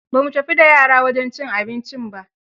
Ba mu tafi da yara wajen cin abincin ba.